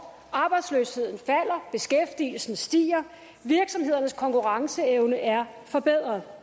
arbejdsløsheden falder beskæftigelsen stiger og virksomhedernes konkurrenceevne er forbedret